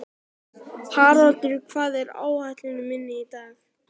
Haraldur, hvað er á áætluninni minni í dag?